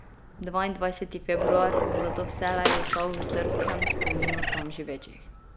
Dvaindvajseti februar bo zato vselej ostal v trpkem spominu tam živečih.